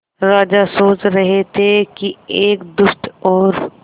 राजा सोच रहे थे कि एक दुष्ट और